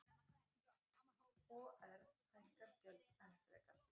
OR hækkar gjöld enn frekar